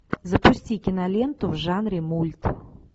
запусти киноленту в жанре мульт